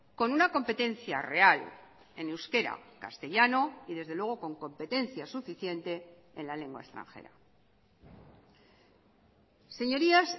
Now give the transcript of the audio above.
con una competencia real en euskera castellano y desde luego con competencia suficiente en la lengua extranjera señorías